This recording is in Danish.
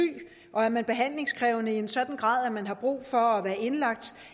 og er man behandlingskrævende i en sådan grad at man har brug for at være indlagt